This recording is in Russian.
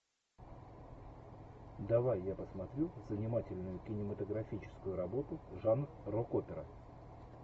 давай я посмотрю занимательную кинематографическую работу жанр рок опера